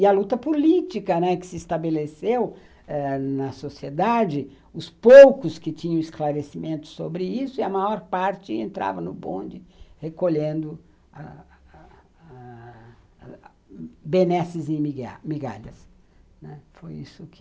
E a luta política, né, que se estabeleceu ãh na sociedade, os poucos que tinham esclarecimento sobre isso, e a maior parte entrava no bonde recolhendo ah ah ah benesses e migalhas, né, foi isso que